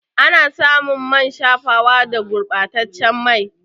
Ana samun man shafawa da gurba taccen mai